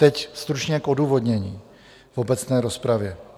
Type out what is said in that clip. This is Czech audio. Teď stručně k odůvodnění v obecné rozpravě.